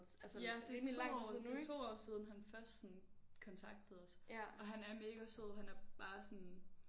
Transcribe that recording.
Ja det 2 år det er 2 år siden han først sådan kontaktede os og han er mega sød han er bare sådan